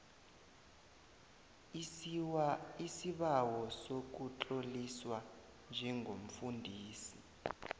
isibawo sokutloliswa njengomfundisi